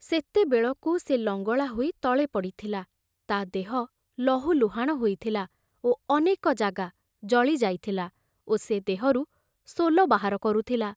ସେତେବେଳକୁ ସେ ଲଙ୍ଗଳା ହୋଇ ତଳେ ପଡ଼ିଥିଲା, ତା ଦେହ ଲହୁଲୁହାଣ ହୋଇଥିଲା ଓ ଅନେକ ଜାଗା ଜଳି ଯାଇଥିଲା ଓ ସେ ଦେହରୁ ସୋଲ ବାହାର କରୁଥିଲା।